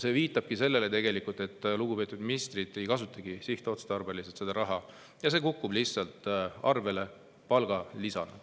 See viitabki tegelikult sellele, et lugupeetud ministrid ei kasuta seda raha sihtotstarbeliselt ja see kukub nende arvele lihtsalt palgalisana.